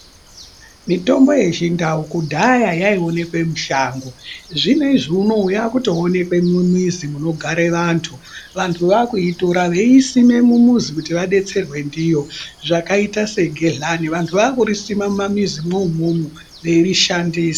Mutombo yechindau kudhaya yaionekwe mushango. Zvinezvi unowu yakutoonekwa mumizi munogare vantu. Vantu vakuitora veiisima mumuzi kuti vadetserwe ndiyo zvakaita segehlani vantu vakurisima mumamizimwo umwomwo veirishandisa.